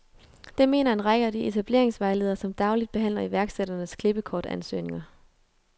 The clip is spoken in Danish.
Det mener en række af de etableringsvejledere, som dagligt behandler iværksætternes klippekortansøgninger.